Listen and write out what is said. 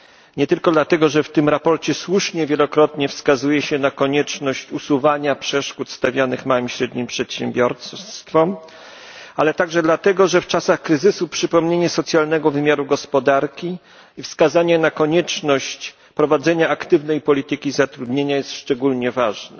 Nie tylko dlatego że w tym sprawozdaniu słusznie wielokrotnie wskazuje się na konieczność usuwania przeszkód stawianych małym i średnim przedsiębiorstwom, ale także dlatego że w czasach kryzysu przypomnienie socjalnego wymiaru gospodarki i wskazanie na konieczność prowadzenia aktywnej polityki zatrudnienia jest szczególnie ważne.